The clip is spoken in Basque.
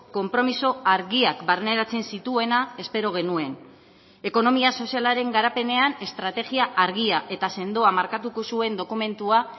konpromiso argiak barneratzen zituena espero genuen ekonomia sozialaren garapenean estrategia argia eta sendoa markatuko zuen dokumentua